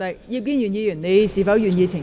葉建源議員，你是否願意澄清？